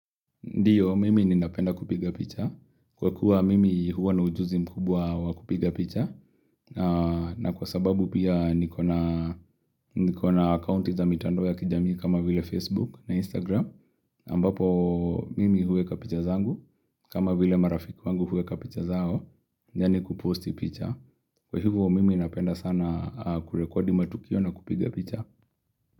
Ndiyo, mimi ninapenda kupiga picha. Kwa kuwa mimi huwa na ujuzi mkubwa wa kupiga picha. Na kwa sababu pia niko na akaunti za mitandao ya kijamii kama vile Facebook na Instagram. Ambapo mimi huweka picha zangu. Kama vile marafiki wangu huweka picha zao. Yaani ku post picha. Kwa hivo mimi napenda sana kurekodi matukio na kupiga picha.